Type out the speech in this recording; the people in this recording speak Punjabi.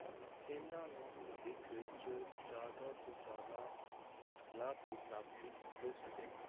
ਇਹਨਾਂ ਨੂੰ ਭਵਿੱਖ ਵਿੱਚ ਜ਼ਿਆਦਾ ਤੋਂ ਜ਼ਿਆਦਾ ਲਾਭ ਦੀ ਪ੍ਰਾਪਤੀ ਹੋ ਸਕੇ।